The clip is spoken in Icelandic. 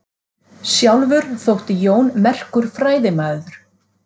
Sjálfur þótti Jón merkur fræðimaður.